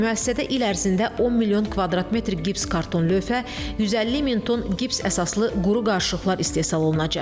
Müəssisədə il ərzində 10 milyon kvadrat metr gips karton lövhə, 150 min ton gips əsaslı quru qarışıqlar istehsal olunacaq.